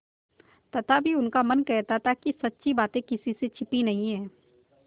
तथापि उनका मन कहता था कि सच्ची बात किसी से छिपी नहीं है